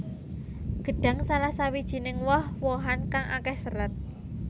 Gedhang salah sawijiné woh wohan kang akéh sêrat